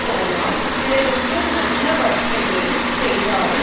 போனால் பிறர்க்கு நல்லவற்றையே செய்தாலும்